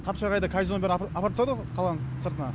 қапчағайда казинонын бәрін апарып тастады ғой қаланың сыртына